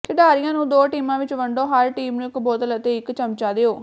ਖਿਡਾਰੀਆਂ ਨੂੰ ਦੋ ਟੀਮਾਂ ਵਿਚ ਵੰਡੋ ਹਰ ਟੀਮ ਨੂੰ ਇਕ ਬੋਤਲ ਅਤੇ ਇਕ ਚਮਚਾ ਦਿਓ